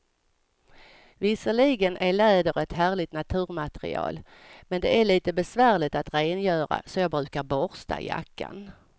Visserligen är läder ett härligt naturmaterial, men det är lite besvärligt att rengöra, så jag brukar borsta jackan.